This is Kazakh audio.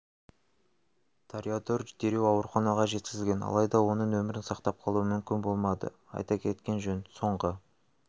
тореодор дереу ауруханаға жеткізілген алайда оның өмірін сақтап қалу мүмкін болмады айта кеткен жөн соңғы